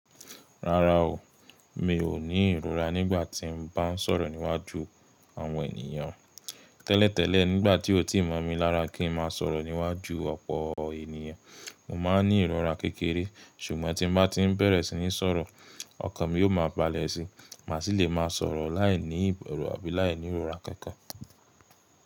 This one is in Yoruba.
Rárá o, mi ò ní ìrora nígbà tí n bá ń sọ̀rọ̀ níwájú àwọn ènìyàn. Tẹ́lẹ̀ tẹ́lẹ̀ nígbà tí ó ti mọ̀ mi lára kí n má a sọ̀rọ̀ níwájú ọ̀pọ̀ ènìyàn, mo máa ń ní ìrora kékeré. Ṣùgbọ́n tí n bá ti n bẹ̀rẹ̀ sí ní sọ̀rọ̀ ọkàn mi yóò máa balẹ̀ síi, mà sì lè má a sọ̀rọ̀ láì ní ìbẹ̀rù àbí láì nírora kankan.